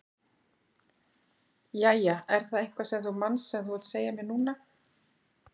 Jæja, er það eitthvað sem þú manst sem þú vilt segja mér núna?